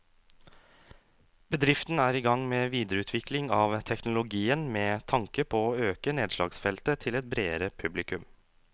Bedriften er i gang med videreutvikling av teknologien med tanke på å øke nedslagsfeltet til et bredere publikum.